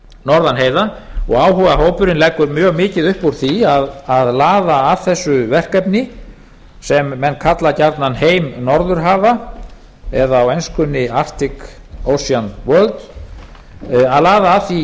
norðan heiða og áhugahópurinn leggur mjög mikið upp úr því að laða að þessu verkefni sem kalla gjarnan heima norðurhafa eða á enskunni artic ocean world að laða að því